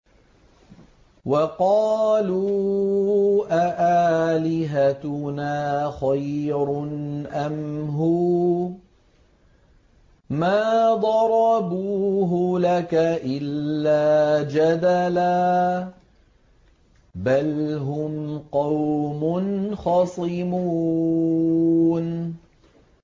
وَقَالُوا أَآلِهَتُنَا خَيْرٌ أَمْ هُوَ ۚ مَا ضَرَبُوهُ لَكَ إِلَّا جَدَلًا ۚ بَلْ هُمْ قَوْمٌ خَصِمُونَ